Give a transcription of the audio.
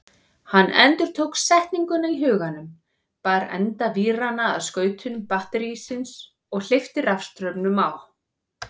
Hann endurtók setninguna í huganum, bar enda víranna að skautum batterísins og hleypti rafstraumnum á.